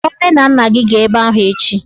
Kpọrọ nne na nna gị gaa ebe ahụ echi!